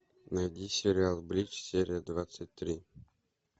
найди сериал бридж серия двадцать три